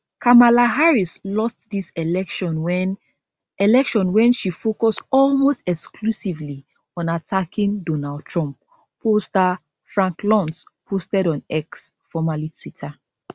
kamala harris lost dis election wen election wen she focus almost exclusively on attacking donald trump pollster frank luntz posted on x formerly twitter